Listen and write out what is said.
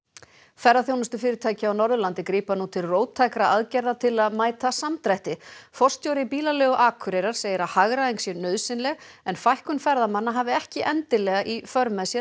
ferðaþjónustufyrirtæki á Norðurlandi grípa nú til róttækra aðgerða til að mæta samdrætti forstjóri bílaleigu Akureyrar segir að hagræðing sé nauðsynleg en fækkun ferðamanna hafi ekki endilega í för með sér